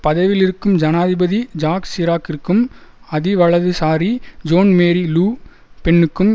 பதவியிலிருக்கும் ஜனாதிபதி ஜாக் சிராக்கிற்கும் அதிவலதுசாரி ஜோன் மேரி லு பென்னுக்கும்